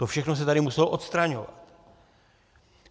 To všechno se tady muselo odstraňovat.